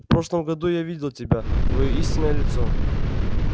в прошлом году я видел тебя твоё истинное лицо